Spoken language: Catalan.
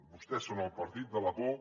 vostès són el partit de la por